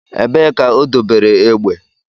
Ebee ka o debere egbe?